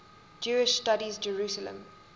jewish studies jerusalem